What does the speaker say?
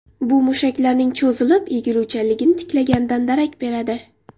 Bu mushaklarning cho‘zilib, egiluvchanligini tiklaganidan darak beradi.